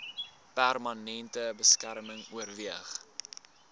permanente beskerming oorweeg